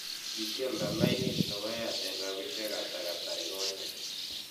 kikyolnda laini nepo airtel rabisiek ata kasarigonyen